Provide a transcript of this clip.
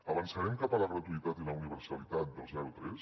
avançarem cap a la gratuïtat i la universalitat del zero tres